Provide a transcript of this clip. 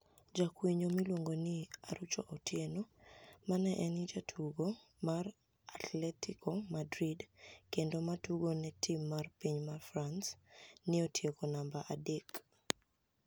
Ja kwiniyo mi luonigo nii Arucho Otieno ma eni jatugo mar, Atletico Madrid kenido ma tugo ni e tim mar piniy Franice, ni e otieko e niamba adek.